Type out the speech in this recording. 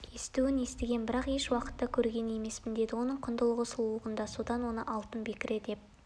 естуін естігем бірақ еш уақытта көрген емеспін деді оның құндылығы сұлулығында содан оны алтын бекіре деп